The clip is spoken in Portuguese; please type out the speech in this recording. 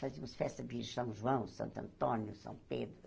Fazíamos festa de São João, Santo Antônio, São Pedro.